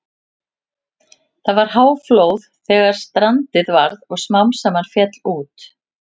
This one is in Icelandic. Það var háflóð þegar strandið varð og smám saman féll út.